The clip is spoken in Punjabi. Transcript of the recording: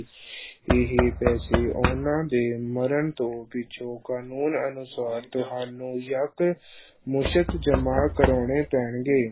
ਇਹ ਪੈਸੇ ਉਹਨਾਂ ਦੇ ਮਰਨ ਤੋਂ ਪਿੱਛੋਂ ਕਾਨੂੰਨ ਅਨੁਸਾਰ ਤੁਹਾਨੂੰ ਯੱਕ ਮੁਸ਼ਤ ਜਮ੍ਹਾਂ ਕਰਾਉਣੇ ਪੈਣਗੇ।